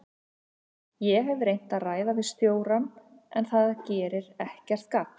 Ég hef reynt að ræða við stjórann en það gerir ekkert gagn.